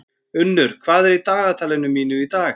Unnur, hvað er í dagatalinu mínu í dag?